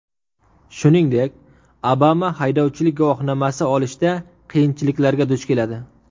Shuningdek, Obama haydovchilik guvohnomasi olishda qiyinchiliklarga duch keladi.